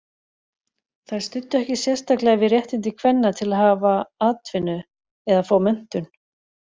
Þær studdu ekki sérstaklega við réttindi kvenna til að hafa atvinnu eða fá menntun.